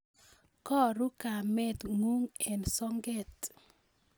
Karo kamet ng'ung' eng' soget